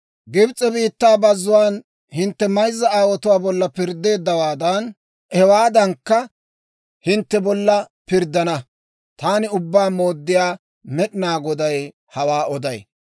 Gibs'e biittaa bazzuwaan hintte mayzza aawotuwaa bolla pirddeeddawaadan, hewaadankka hintte bolla pirddana. Taani Ubbaa Mooddiyaa Med'inaa Goday hawaa oday.